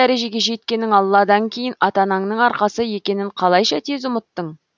дәрежеге жеткенің алладан кейін ата анаңның арқасы екенің қалайша тез ұмыттың